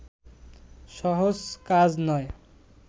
সহজ কাজ নয়